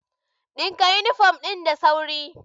Ɗinka yunifom ɗin da sauri!